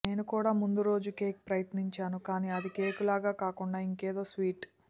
నేను కూడా ముందు రోజు కేక్ ప్రయత్నించాను కానీ అది కేక్ లాగా కాకుండా ఇంకేదో స్వీట్